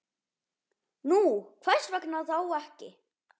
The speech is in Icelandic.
Nú, hvers vegna þá ekki?